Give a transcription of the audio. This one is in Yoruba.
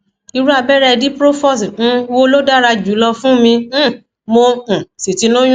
irú abẹrẹ diprofos um wo ló dára jùlọ fún mi um mo um sì ti lóyún